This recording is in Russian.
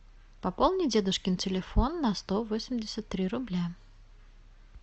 пополни дедушкин телефон на сто восемьдесят три рубля